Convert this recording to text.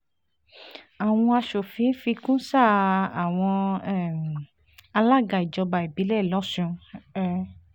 àwọn aṣòfin fi kún sáà àwọn um alága ìjọba ìbílẹ̀ lọ́sùn um